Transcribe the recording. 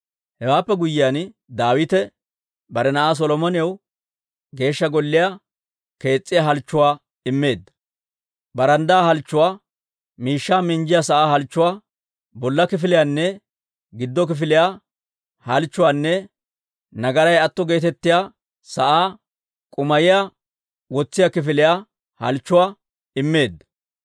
Hewaappe guyyiyaan, Daawite bare na'aa Solomonaw Geeshsha Golliyaa kees's'iyaa halchchuwaa immeedda; baranddaa halchchuwaa, miishshaa minjjiyaa sa'aa halchchuwaa, bolla kifiliyaanne giddo kifiliyaa halchchuwaanne nagaray atto geetettiyaa sa'aa k'um"iyaa wotsiyaa kifiliyaa halchchuwaa immeedda.